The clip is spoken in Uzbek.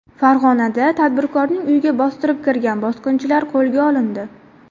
Farg‘onada tadbirkorning uyiga bostirib kirgan bosqinchilar qo‘lga olindi.